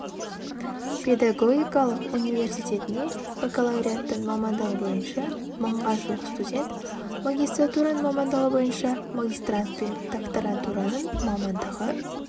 педагогикалық университетіне бакалавриаттың мамандығы бойынша мыңға жуық студент магистратураның мамандығы бойынша магистрант пен докторантураның мамандығы